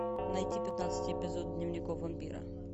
найти пятнадцатый эпизод дневников вампира